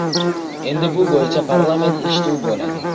Endi bu bo‘yicha parlament eshituvi bo‘ladi.